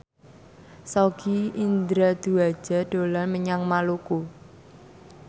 Sogi Indra Duaja dolan menyang Maluku